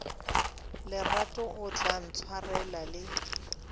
lerato o tla ntshwarela le